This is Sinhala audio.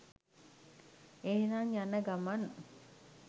එහෙනම් යනගමන්